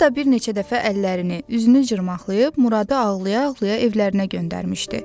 Hətta bir neçə dəfə əllərini, üzünü cırmaqlayıb Muradı ağlaya-ağlaya evlərinə göndərmişdi.